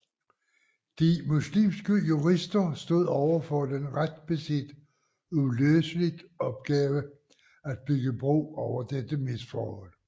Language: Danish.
De muslimske jurister stod overfor den ret beset uløselige opgave at bygge bro over dette misforhold